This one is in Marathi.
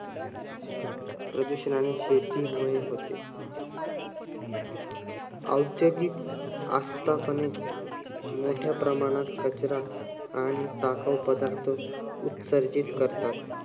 शेतीमुळे होते. औद्योगिक आस्थापने मोठ्या प्रमाणात कचरा आणि टाकाऊ पदार्थ उत्सर्जित करातात.